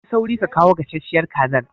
Ka yi sauri ka kawo gasasshiyar kazar!